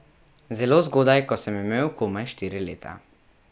Zelo zgodaj, ko sem imel komaj štiri leta.